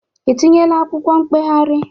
I tinyeela akwụkwọ mkpegharị?